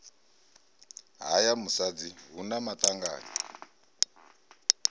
haya musadzi hu na maṱanganyi